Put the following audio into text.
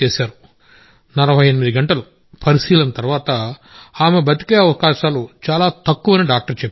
48 గంటల అబ్జర్వేషన్ తర్వాత ఆమె బతికే అవకాశాలు చాలా తక్కువని డాక్టర్ చెప్పారు